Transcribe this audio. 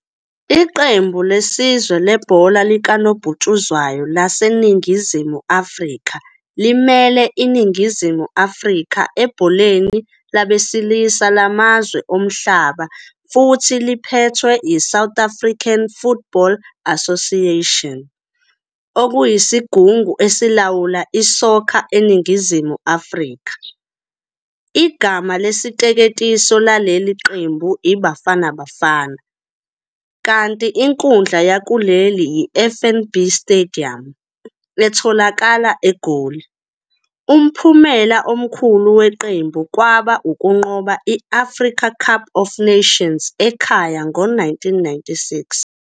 Iqembu lesizwe lebhola likanobhutshuzwayo laseNingizimu Afrika limele iNingizimu Afrika ebholeni labesilisa lamazwe omhlaba futhi liphethwe yiSouth African Football Association, okuyisigungu esilawula iSoccer eNingizimu Afrika. Igama lesiteketiso laleli qembu iBafana Bafana, kanti inkundla yakuleli yiFNB Stadium, etholakala eGoli. Umphumela omkhulu weqembu kwaba ukunqoba i- Africa Cup of Nations ekhaya ngo- 1996.